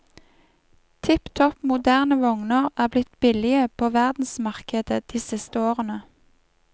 Tipp topp moderne vogner er blitt billige på verdensmarkedet de siste årene.